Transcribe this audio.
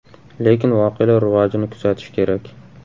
Lekin voqealar rivojini kuzatish kerak.